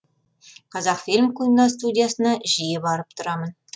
қазақфильм киностудиясына жиі барып тұрамын